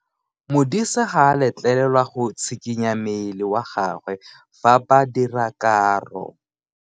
Modise ga a letlelelwa go tshikinya mmele wa gagwe fa ba dira karo.